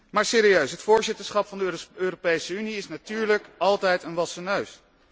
Maar serieus, het voorzitterschap van de Europese Unie is natuurlijk altijd een wassen neus.